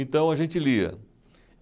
Então a gente lia.